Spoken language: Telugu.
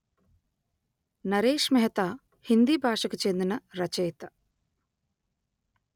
నరేశ్ మెహతా హిందీ భాషకు చెందిన రచయిత